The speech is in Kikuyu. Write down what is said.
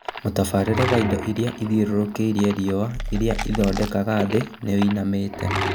Mũtabĩrĩre wa indo iria ithiũrũrũkĩirie riũa iria ĩthondekaga thĩ nĩwoinamĩte